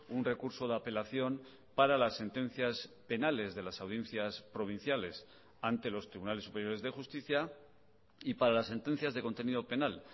un recurso de apelación para las sentencias penales de las audiencias provinciales ante los tribunales superiores de justicia y para las sentencias de contenido penal